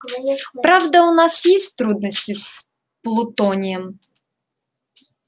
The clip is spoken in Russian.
правда у нас есть трудности с плутонием